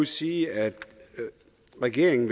sige at regeringen